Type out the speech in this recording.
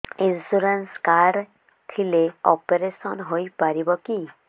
insurance card ଥିଲେ operation ହେଇପାରିବ କି